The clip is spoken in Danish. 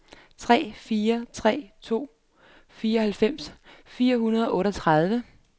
tre fire tre to fireoghalvfems fire hundrede og otteogtredive